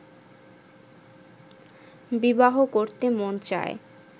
বিবাহ করতে মন চায়